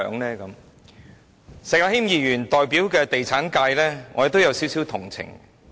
對於石議員所代表的地產界，我也有點同情。